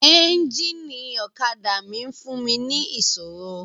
Ẹ́ńjíìnì ọ̀kadà mi ń fún mi ní ìṣòro.